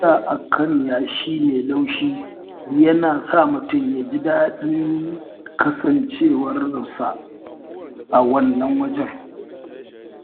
Tafiya a kan yashi mai laushi yana sa mutum ya ji daɗin kasancewarsa a wannan wajen.